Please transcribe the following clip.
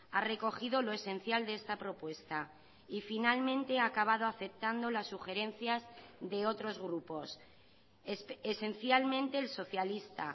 ha recogido lo esencial de esta propuesta y finalmente ha acabado aceptando las sugerencias de otros grupos esencialmente el socialista